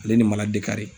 Ale ni mali de kari